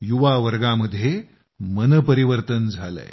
युवावर्गामध्ये मनपरिवर्तन झालंय